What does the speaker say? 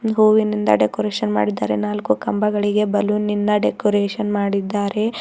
ಹೂವಿನಿಂದ ಡೆಕೋರೇಷನ್ ಮಾಡಿದ್ದಾರೆ ನಾಲ್ಕು ಕಂಬಗಳಿಗೆ ಬಲೂನ್ ನಿಂದ ಡೆಕೋರೇಷನ್ ಮಾಡಿದ್ದಾರೆ.